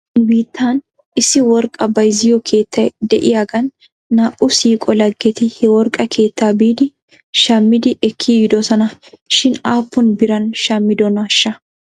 Nu biittan issi worqqaa bayzziyoo keettay de'iyaagan naa'u siiqo laggeti he worqqa keettaa biidi shammidi ekki yiidosona shin aappun biran shammidonaashsha?